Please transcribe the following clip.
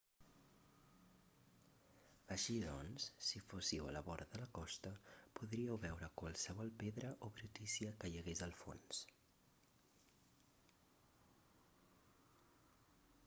així doncs si fóssiu a la vora de la costa podríeu veure qualsevol pedra o brutícia que hi hagués al fons